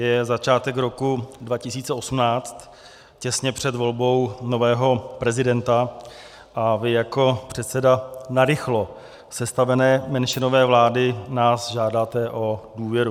Je začátek roku 2018, těsně před volbou nového prezidenta a vy jako předseda narychlo sestavené menšinové vlády nás žádáte o důvěru.